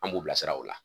An b'u bilasira o la